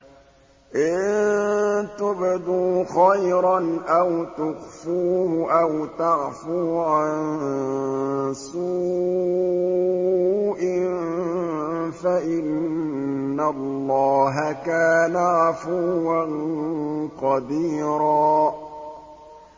إِن تُبْدُوا خَيْرًا أَوْ تُخْفُوهُ أَوْ تَعْفُوا عَن سُوءٍ فَإِنَّ اللَّهَ كَانَ عَفُوًّا قَدِيرًا